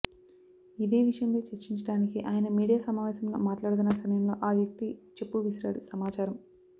ఇదే విషయం పై చర్చించడానికి ఆయన మీడియా సమావేశంలో మాట్లాడుతున్న సమయలో ఆ వ్యక్తి చెప్పు విసిరాడు సమాచారం